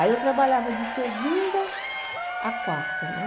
Aí eu trabalhava de segunda a quarta, né?